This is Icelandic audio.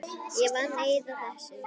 Ég vann eið að þessu.